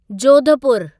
जोधपुरु